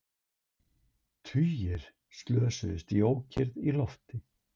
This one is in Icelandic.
Tugir slösuðust í ókyrrð í lofti